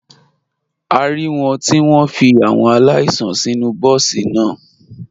A rí wọn tí wọ́n fi àwọn aláìsàn sínú bọ́ọ̀sì náà.